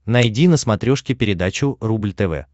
найди на смотрешке передачу рубль тв